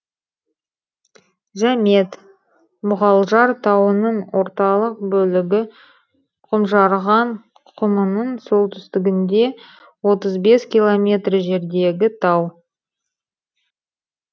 жәмет мұғалжар тауының орталық бөлігі құмжарған құмының солтүстігінде отыз бес километр жердегі тау